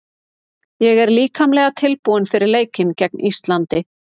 Ég er líkamlega tilbúinn fyrir leikinn gegn Íslandi.